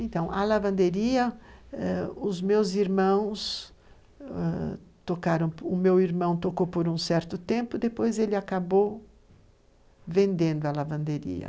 Então, a lavanderia eh, os meus irmãos ãh tocaram, o meu irmão tocou por um certo tempo, depois ele acabou vendendo a lavanderia.